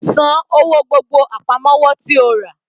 San owó gbogbo àpamọ́wọ́ tí o rà.